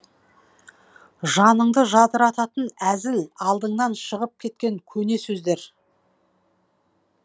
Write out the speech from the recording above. жаныңды жадырататын әзіл алдыңнаншығып кеткен көне сөздер